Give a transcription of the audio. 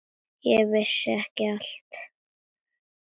Þú veist ekki allt.